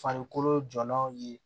Farikolo jɔlanw ye